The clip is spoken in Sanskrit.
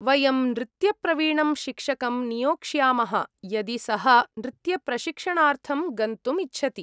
वयं नृत्यप्रवीणं शिक्षकं नियोक्ष्यामः यदि सः नृत्यप्रशिक्षणार्थं गन्तुम् इच्छति।